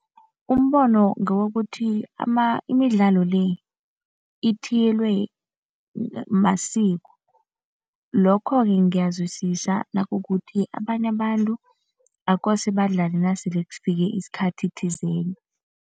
Umbono ngewokuthi imidlalo le ithiyelwe masiko. Lokho-ke ngiyazwisisa nakukuthi abanye abantu akose badlale nasele kufike isikhathi thizeni.